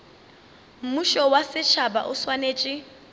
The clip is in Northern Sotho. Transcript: mmušo wa setšhaba o swanetše